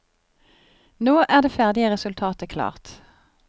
Nå er det ferdige resultatet klart.